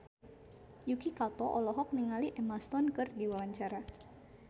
Yuki Kato olohok ningali Emma Stone keur diwawancara